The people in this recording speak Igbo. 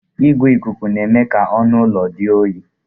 Igwe ikuku na-eme ka ọnụ ụlọ dị jụụ